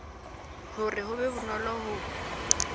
hore ho be bonolo ho